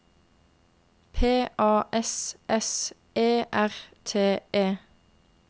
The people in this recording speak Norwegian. P A S S E R T E